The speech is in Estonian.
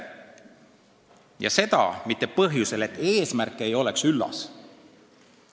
Ja seda mitte põhjusel, et eesmärk ei oleks üllas.